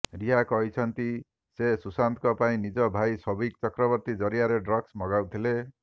ରିୟା କହିଛନ୍ତି ସେ ସୁଶାନ୍ତଙ୍କ ପାଇଁ ନିଜ ଭାଇ ସୌଭିକ ଚକ୍ରବର୍ତ୍ତୀ ଜରିଆରେ ଡ୍ରଗ୍ସ ମଗାଉଥିଲେ